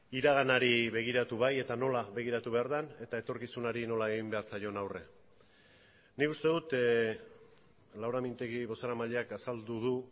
iraganari begiratu bai eta nola begiratu behar den eta etorkizunari nola egin behar zaion aurre nik uste dut laura mintegi bozeramaileak azaldu du